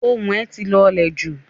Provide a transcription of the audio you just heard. Ohùn ẹ̀ ti lọ̀lẹ̀ jù.